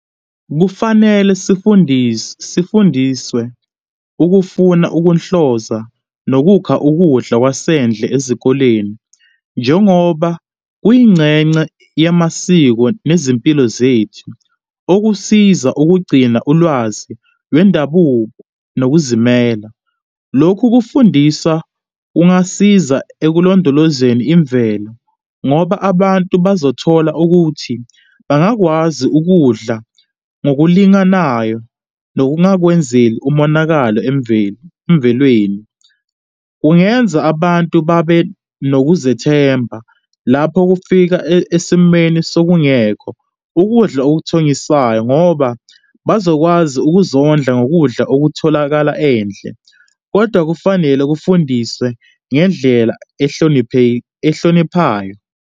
Kufanele sifundiswe ukufuna ukunhloza nokukha ukudla kwasendle ezikoleni, njengoba kuyingcengce yamasiko nezimpilo zethu, okusiza ukugcina ulwazi lwendabuko nokuzimela. Lokhu kufundiswa kungasiza ekulondolozeni imvelo ngoba abantu bazothola ukuthi bangakwazi ukudla ngokulinganayo nokungakwenzeli umonakalo emvelo, emvelweni. Kungenza abantu babe nokuzethemba lapho kufika esimeni sokungekho ukudla othengisayo ngoba bazokwazi ukuzondla ngokudla okutholakala endle, kodwa kufanele kufundiswe ngendlela ehloniphayo.